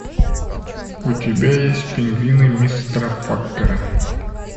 у тебя есть пингвины мистера поппера